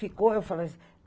Ficou, eu falei